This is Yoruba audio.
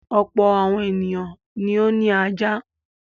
Ọ̀pọ̀ àwọn ènìyàn ni ó ní ajá.